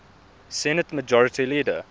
senate majority leader